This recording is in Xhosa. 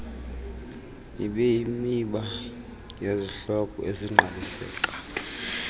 ibeyimiba yezihloko ezingqaliseka